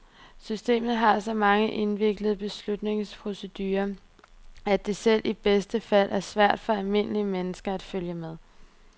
Systemet har så mange indviklede beslutningsprocedurer, at det selv i bedste fald er svært for almindelige mennesker at følge med.